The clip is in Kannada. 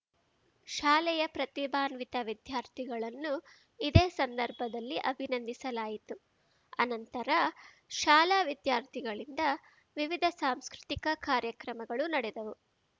ಶಾಲೆಯ ಪ್ರತಿಭಾನ್ವಿತ ವಿದ್ಯಾರ್ಥಿಗಳನ್ನು ಇದೇ ಸಂದರ್ಭದಲ್ಲಿ ಅಭಿನಂದಿಸಲಾಯಿತು ಅನಂತರ ಶಾಲಾ ವಿದ್ಯಾರ್ಥಿಗಳಿಂದ ವಿವಿಧ ಸಾಂಸ್ಕೃತಿಕ ಕಾರ್ಯಕ್ರಮಗಳು ನಡೆದವು